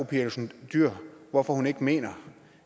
pia olsen dyhr hvorfor hun ikke mener